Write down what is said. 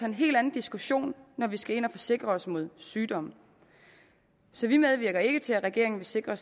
en helt anden diskussion når vi skal ind og forsikre os mod sygdom så vi medvirker ikke til at regeringen vil sikre